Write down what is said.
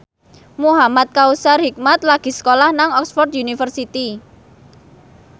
Muhamad Kautsar Hikmat lagi sekolah nang Oxford university